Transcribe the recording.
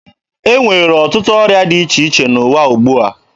E nwere ọtụtụ ọrịa dị iche iche n'ụwa ugbua.